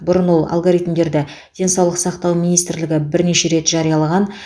бұрын ол алгоритмдерді денсаулық сақтау министрлігі бірнеше рет жариялаған